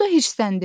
O da hirsləndi.